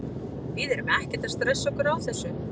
Við erum ekkert að stressa okkur á þessu.